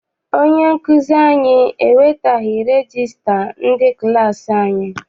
Onye nkụzi anyị ewetaghi regista ndị klassi anyị.